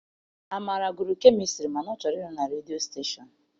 Amara gụrụ kemịstri mana ọ chọrọ ịrụ na redio stashon.